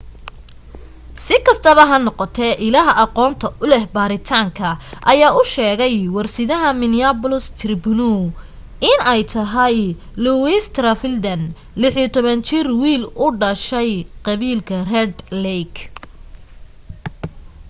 sikastaba ha noqotee illaha aqoonta uleh baaritaanka ayaa u sheegay warsidaha minneapolis _tribune in ay tahay louis traveldan ,16 jir wiil u dhashay qabiilka red lake